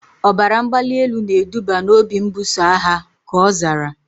Ọbara mgbali elu na eduba na obi mbuso agha, ka ọ zara